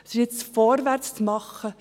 Es ist jetzt Zeit, vorwärts zu gehen.